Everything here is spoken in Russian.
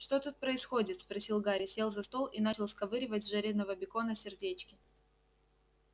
что тут происходит спросил гарри сел за стол и начал сковыривать с жареного бекона сердечки